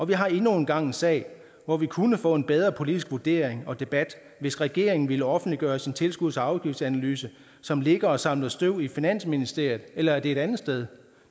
vi har endnu en gang en sag hvor vi kunne få en bedre politisk vurdering og debat hvis regeringen ville offentliggøre sin tilskuds og afgiftsanalyse som ligger og samler støv i finansministeriet eller er det et andet sted